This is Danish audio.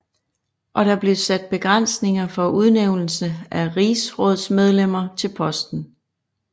Og der blev sat begrænsninger for udnævnelse af rigsrådsmedlemmer til posten